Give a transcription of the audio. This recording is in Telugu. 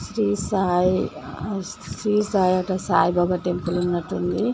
శ్రీ సాయి హౌస్ శ్రీ సాయి అట సాయి బాబా టెంపుల్ ఉన్నట్టుంది.